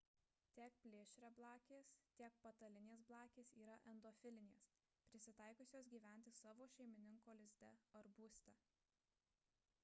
tiek plėšriablakės tiek patalinės blakės yra endofilinės prisitaikiusios gyventi savo šeimininko lizde ar būste